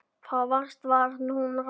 Þá fyrst varð hún róleg.